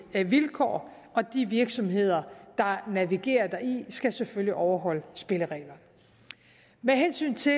vilkår og de virksomheder der navigerer i det skal selvfølgelig overholde spillereglerne med hensyn til